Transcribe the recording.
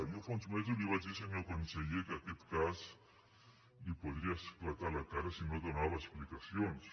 jo fa uns mesos li vaig dir senyor conseller que aquest cas li podria esclatar a la cara si no donava explicacions